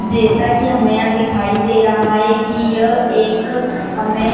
जैसा की हमे यहाँ दिखाई दे रहा है की यह एक हमे --